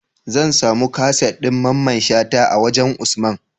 Zan samu kaset din mamman shata a wajan usman?